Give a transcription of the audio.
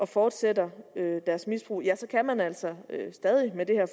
fortsætter deres misbrug kan man altså stadig med det her